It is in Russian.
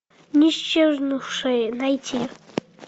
исчезнувшие найти